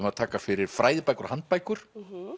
að taka fyrir fræðibækur og handbækur